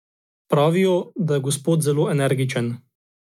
Pravijo, da je gospod zelo energičen.